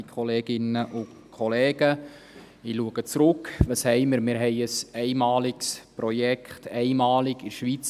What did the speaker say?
– Wir haben ein einmaliges Projekt, einmalig in der Schweiz.